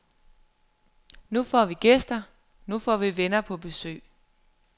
Nu får vi gæster, nu får vi venner på besøg.